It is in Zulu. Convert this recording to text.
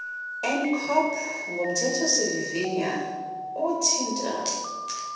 ncop ngomthethosivivinywa othinta